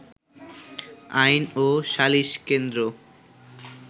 আইন ও সালিশ কেন্দ্র